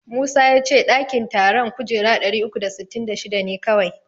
Musa ya ce ɗakin taron kujera ɗari uku da sittin da shida ne kawai.